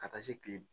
Ka taa se kile